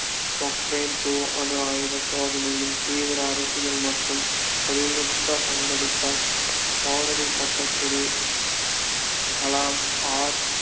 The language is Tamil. பொக்ரான் two அணு ஆயுத சோதனையில் தீவிர அரசியல் மற்றும் தொழில்நுட்பப் பங்களித்தார் சோதனை கட்டத்தில் கலாம் ஆர்